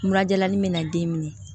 Mura jalanin bɛ na den minɛ